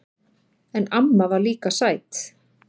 En amma var líka sæt.